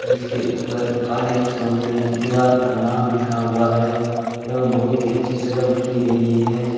जिसके ऊपर काले अक्षरों में दीवार पर नाम लिखा हुआ है एवं बहोत ही अच्छी सजावट की गई है।